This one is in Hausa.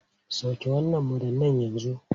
Sauke wannan madannai yanzu!